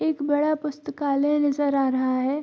एक बड़ा पुस्तकालय नजर आ रहा है।